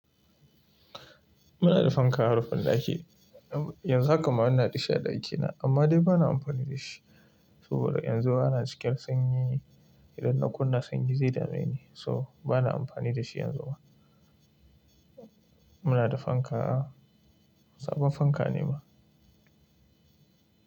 Muna da fanka a rufin ɗaki. Yanzu haka ma ina da shi a ɗakina, amma dai ba na amfani da shi. Saboda yanzu ana cikin sanyi ne. Idan na kunna sanyi zai dame ni, so ba na amfani da shi yanzu ba. Muna da fanka a, sabon fanka ne ma.